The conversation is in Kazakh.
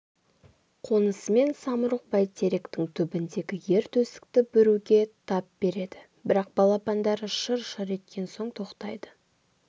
қонысымен самұрық бәйтеректің түбіндегі ер төстікті бүруге тап береді бірақ балапандары шыр-шыр еткен соң тоқтайды